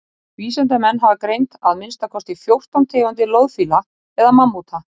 vísindamenn hafa greint að minnsta kosti fjórtán tegundir loðfíla eða mammúta